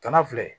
Kana filɛ